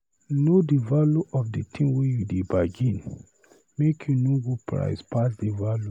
Know di value of di tin you dey bargain, make you no go price pass di value.